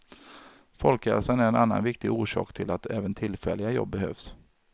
Folkhälsan är en annan viktig orsak till att även tillfälliga jobb behövs.